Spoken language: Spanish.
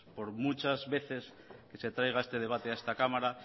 por muchas veces que traiga este debate a esta cámara